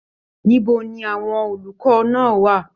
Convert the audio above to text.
Níbo ní àwọn olùkọ náà wà?